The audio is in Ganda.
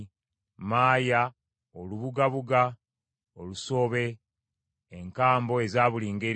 maaya, olubugabuga, olusobe, enkambo eza buli ngeri,